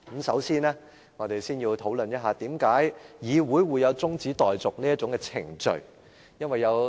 首先，我們先討論為何議會會存在中止待續議案這項程序。